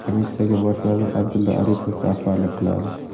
Komissiyaga bosh vazir Abdulla Aripov rahbarlik qiladi.